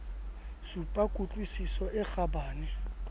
supa ku tlwisiso e kgabane